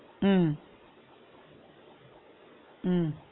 உம் உம்